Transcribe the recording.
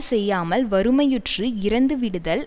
செய்யாமல் வறுமையுற்று இறந்து விடுதல்